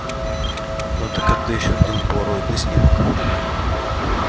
но это как-то ещё один полароидный снимок